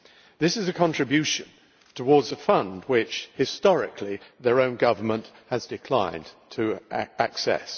This is a contribution towards a fund which, historically, their own government has declined to access.